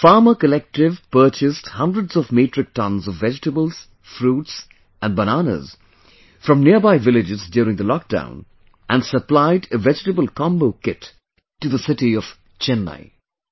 This Farmer Collective purchased hundreds of metric tons of vegetables, fruits and Bananas from nearby villages during the lockdown, and supplied a vegetable combo kit to the city of Chennai